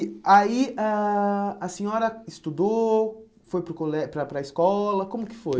E aí a a senhora estudou, foi para o colé para a para a escola, como que foi?